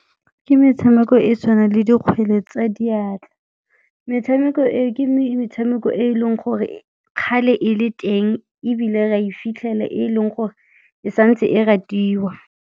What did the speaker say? Ke metshameko e tshwanang le dikgwele tsa diatla. Metshameko e, ke metshameko e e leng gore kgale e le teng ebile ra e fitlhela, e leng gore e santse e ratiwa.